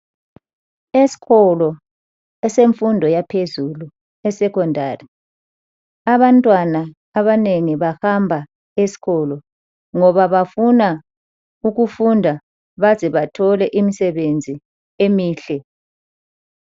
Eskolo esemfundo yaphezulu esecondary abantwanwa abanengi bahamba eskolo ngoba bafuna ukufunda bazebathole imisebenzi emihle